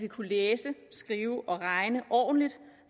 kunne læse skrive og regne ordentligt